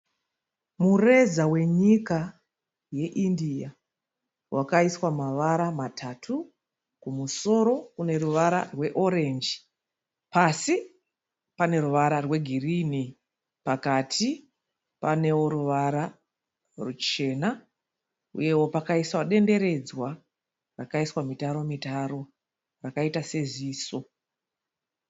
Mureza wenyika yeIndia wakaiswa mavara matatu kumusoro kune ruvara rweorenji pasi pane ruvara rwegirini pakati panewo ruvara ruchena, uyewo pakaiswa denderedzwa rakaiswa mitaro mitaro rakaita seziso.